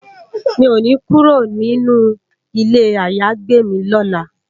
Mi ó ni kúró ninú ilé àyágbé mi lòlá